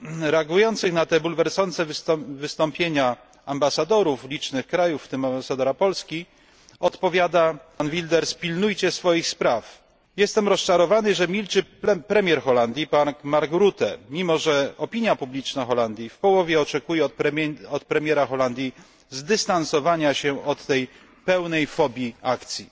Reagującym na te bulwersujące wystąpienia ambasadorom licznych krajów, w tym ambasadorowi Polski, odpowiada Wilders pilnujcie swoich spraw. Jestem rozczarowany, że milczy premier Holandii Mark Rutte, mimo że opinia publiczna w Holandii w połowie oczekuje od premiera Holandii zdystansowania się od tej pełnej fobii akcji.